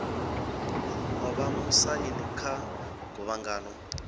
o vha musaini kha guvhangano